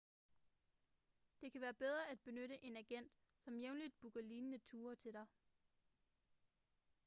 det kan være bedre at benytte en agent som jævnligt booker lignende ture til dig